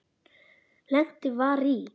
Lent var í